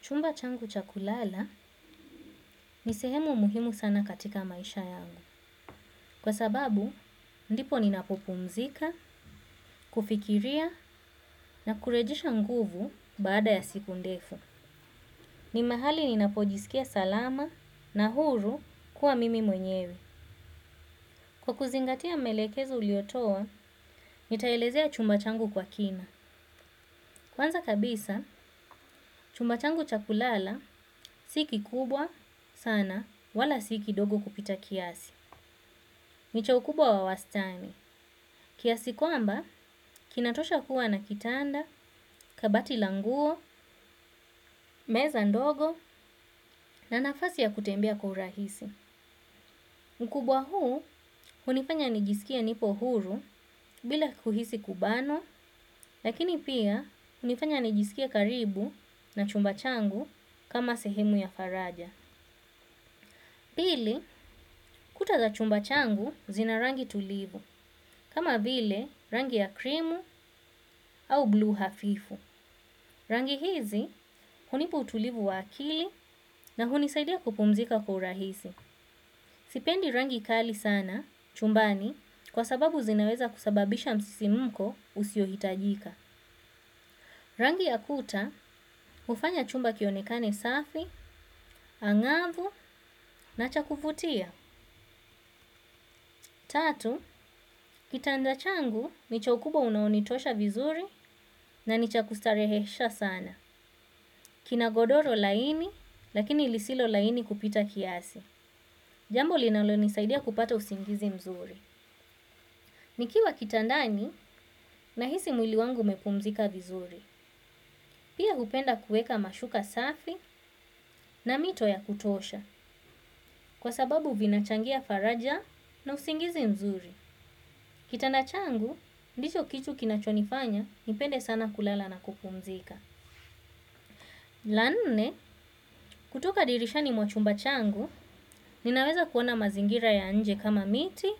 Chumba changu cha kulala ni sehemu muhimu sana katika maisha yangu. Kwa sababu, ndipo ninapopumzika, kufikiria na kurejisha nguvu baada ya siku ndefu. Ni mahali ni napojisikia salama na huru kuwa mimi mwenyewe. Kwa kuzingatia maelekeza uliotowa, nitaelezea chumba changu kwa kina. Kwanza kabisa, chumba changu cha kulala siki kubwa sana wala si kidogo kupita kiasi. Nicha ukubwa wa wastani. Kiasi kwamba, kinatosha kuwa na kitanda, kabati languo, meza ndogo na nafasi ya kutembea kwa urahisi. Ukubwa huu, unifanya nijisikie nipo huru bila kuhisi kubanwa, lakini pia unifanya nijisikia karibu na chumba changu kama sehemu ya faraja. Pili, kuta za chumba changu zina rangi tulivu, kama vile rangi ya krimu au bluu hafifu. Rangi hizi, hunipa utulivu wa akili na hunisaidia kupumzika kwa urahisi. Sipendi rangi kali sana, chumbani, kwa sababu zinaweza kusababisha msisimko usio hitajika. Rangi ya kuta, ufanya chumba kionekane safi, angavu na cha kuvutia. Tatu, kitanda changu, nicho kubwa unaonitosha vizuri na nicha kustarehesha sana. Kina godoro laini, lakini ilisilo laini kupita kiasi. Jambo linalo nisaidia kupata usingizi mzuri. Nikiwa kitandani, nahisi mwili wangu umepumzika vizuri. Pia upenda kueka mashuka safi na mito ya kutosha, kwa sababu vinachangia faraja na usingizi mzuri. Kitanda changu, ndicho kitu kinachonifanya, nipende sana kulala na kupumzika. La nne, kutoka dirisha ni mwa chumba changu, ninaweza kuona mazingira ya anje kama miti,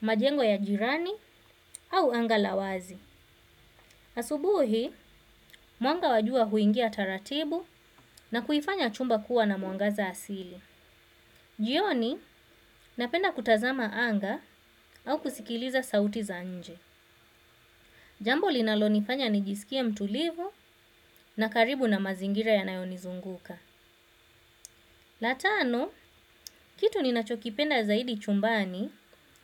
majengo ya jirani, au anga lawazi. Asubuhi, mwanga wa jua huingia taratibu na kuifanya chumba kuwa na mwangaza asili. Jioni, napenda kutazama anga au kusikiliza sauti za nje. Jambo linalo nifanya nijisikie mtulivu na karibu na mazingira yanayonizunguka. La tano, kitu ninachokipenda zaidi chumbani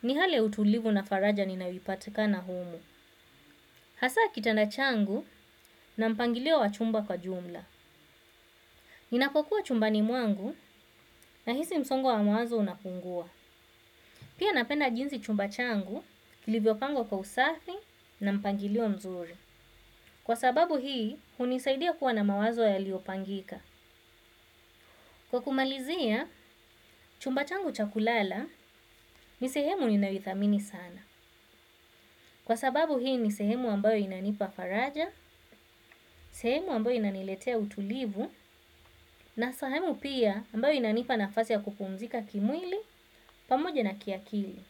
ni hali ya utulivu na faraja ninawipatika na humu. Hasa kitanda changu na mpangilio wa chumba kwa jumla. Ninakokuwa chumbani mwangu na hisi msongo wa mawazo unapungua. Pia napenda jinsi chumba changu, kilivyo pangwa kwa usafi na mpangilio mzuri. Kwa sababu hii, unisaidia kuwa na mawazo yaliopangika. Kwa kumalizia, chumba changu chakulala ni sehemu ni nayoithamini sana. Kwa sababu hii ni sehemu ambayo inanipa faraja, sehemu ambayo inaniletea utulivu, na sehemu pia ambayo inanipa nafasi ya kupumzika kimwili pamoje na kiakili.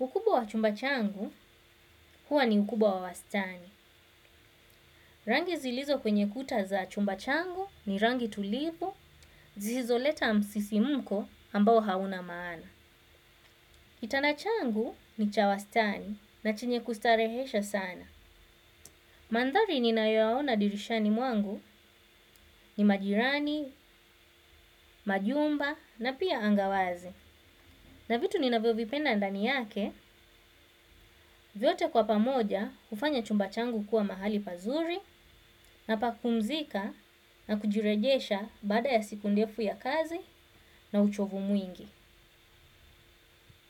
Ukubwa wa chumba changu huwa ni ukubwa wa wastani. Rangi zilizo kwenye kuta za chumba changu ni rangi tulivu, zisizo leta msisi muko ambayo hauna maana. Kitanda changu ni chawastani na chinye kustarehesha sana. Mandhari ninayoyaona dirishani mwangu ni majirani, majumba na pia angawazi. Na vitu ninavyovipenda andani yake, vyote kwa pamoja ufanya chumba changu kuwa mahali pazuri na pakupumzika na kujirejesha bada ya siku ndefu ya kazi na uchovu mwingi.